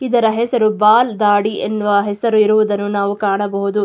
ಇದರ ಹೆಸರು ಬಾಲ್ ದಾಡಿ ಎನ್ನುವ ಹೆಸರು ಇರುವುದನ್ನು ನಾವು ಕಾಣಬಹುದು.